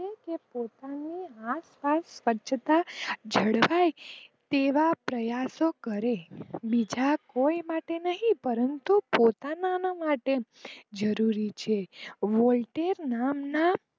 પોતાની આખો સામે સ્વચ્છ તા જળવાઈ રહે તેવા પ્રયાશો કરીયે બીજા કોઈ માટે નહિ પોતાના માટે જરૂરી છે વૉલ્ટેજ નામ ના